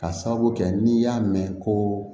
Ka sababu kɛ n'i y'a mɛn ko